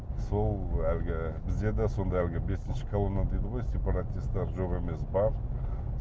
сол әлгі бізде де сондай әлгі бесінші колонна дейді ғой сепаратистер де жоқ емес бар